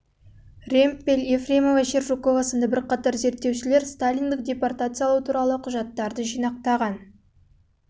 ремпель ефремова-шершукова сынды бірқатар зерттеушілер сталиндік депортациялау туралы мен құжаттары мен сталиндік депортациялау атты құжаттар жинағындағы